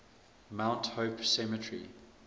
mount hope cemetery